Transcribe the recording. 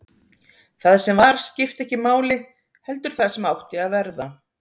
Það sem var skipti ekki máli, heldur það sem átti að verða.